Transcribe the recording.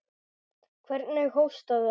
Hvernig hóstaði hann.